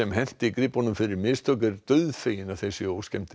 henti gripunum fyrir mistök er dauðfegin að þeir séu